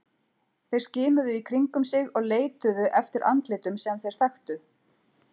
Þeir skimuðu í kringum sig og leituðu eftir andlitum sem þeir þekktu.